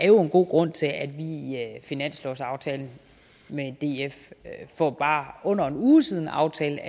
jo er en god grund til at vi i finanslovsaftalen for bare under en uge siden aftalte